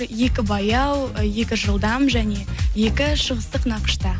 екі баяу екі жылдам және екі шығыстық нақышта